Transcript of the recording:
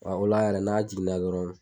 o la yɛrɛ n'a jiginna dɔrɔn.